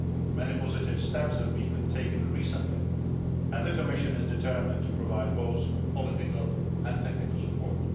Many positive steps have been taken recently and the Commission is determined to provide both political and technical support.